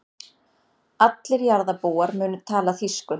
Allir jarðarbúar munu tala þýsku.